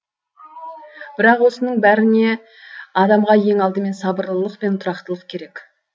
бірақ осының бәріне адамға ең алдымен сабырлылық пен тұрақтылық керек